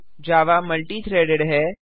जावा multi threaded है